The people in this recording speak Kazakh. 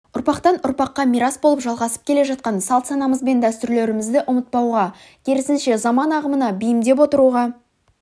ұрпақтан-ұрпаққа мирас болып жалғасып келе жатқан салт-санамыз бен дәстүрлерімізді ұмытпауға керісінше заман ағымына бейімдеп отыруға